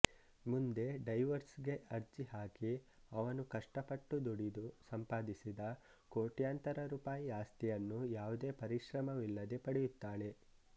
ಮುಂದೆ ಡೈವೋರ್ಸ್ ಗೆ ಅರ್ಜಿ ಹಾಕಿ ಅವನು ಕಷ್ಟಪಟ್ಟು ದುಡಿದು ಸಂಪಾದಿಸಿದ ಕೋಟ್ಯಾಂತರ ರೂಪಾಯಿ ಆಸ್ತಿಯನ್ನು ಯಾವುದೇ ಪರಿಶ್ರಮವಿಲ್ಲದೇ ಪಡೆಯುತ್ತಾಳೆ